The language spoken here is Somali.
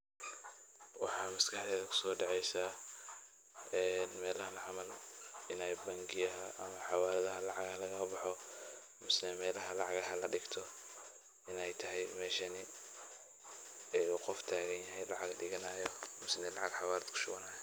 waxaa masakeyda kusodhecesa melahan camal inay xawaladaha ama melaha lacagaha lagala boxo qof ayaa tagan lacag kala baxaayo ama kusbhubanayo